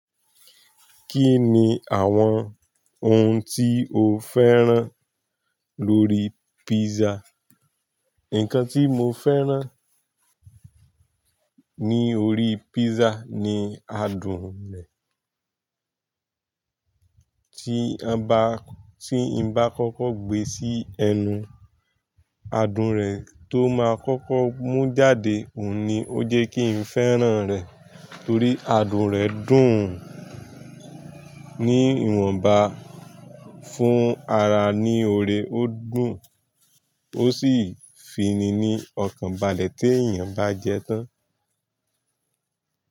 Kí ni àwọn ohun tí o féràn lórí písà? Ǹkan tí mo féràn ní orí písà ni adùn rẹ̀. Tí a bá, tí n bá kọ́kọ́ gbé sí ẹnu, adùn rẹ̀ tó máa kọ́kọ́ mú jáde. Òun ni ó jẹ́ kí n féràn rẹ̀. Torí adùn rẹ̀ dùn ní ìwọ̀nba, fún ara ní oore, ó dùn, ó sì fi ni ní ọkàn balẹ̀ tí èèyàn bá jẹ tán.